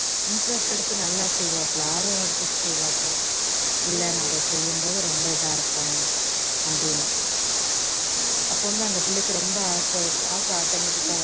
intrest எடுத்து நல்லா செய்வாப்புல ஆர்வம் எடுத்து செய்வாப்புல்ல இல்ல நான் இதை செய்யும்போது ரொம்ப இதா இருப்பேன் அப்படின்னு அப்போ வந்து அந்த பிள்ளைக்கு ரொம்ப ஆசை ஆசை automatic டா வரும்